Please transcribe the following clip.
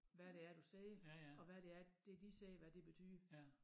Hvad det er du siger og hvad det er det de siger hvad det betyder